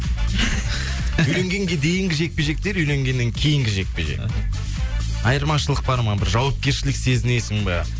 үйленгенге дейінгі жекпе жектер үйленгеннен кейінгі жекпе жек айырмашылық бар ма бір жауапкершілік сезінесің ба